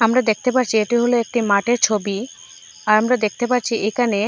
আমরা দেখতে পারছি এটি হলো একটি মাঠের ছবি আর আমরা দেখতে পারছি এখানে--